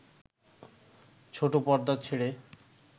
ছোট পর্দা ছেড়ে